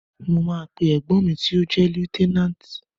Mo máa pe ẹ̀gbọ́n mi tó jẹ́ Lieutenant.